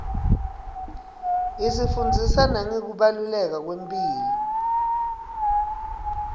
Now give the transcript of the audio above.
isifundzisa nangekubaluleka kwemphilo